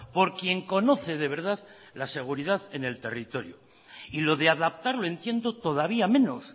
por quien conoce de verdad la seguridad en el territorio y lo de adaptar lo entiendo todavía menos